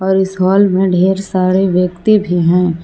और इस हॉल में ढेर सारे व्यक्ति भी हैं।